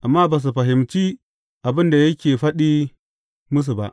Amma ba su fahimci abin da yake faɗin musu ba.